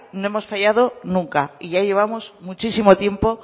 no hemos fallado nunca y ya llevamos muchísimo tiempo